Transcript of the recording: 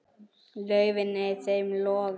laufin ei þeim loði á.